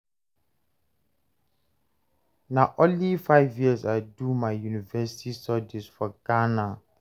Na only five years I do my university studies for Ghana.